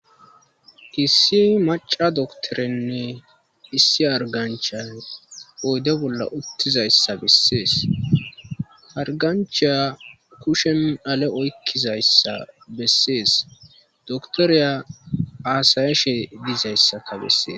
Issi maca doktorenne issi argancha oyde bolla uttizayssa bessees arganchiya kushen ale oykkizayssa bessees doktoriya aasayashe dizayssaka bessees.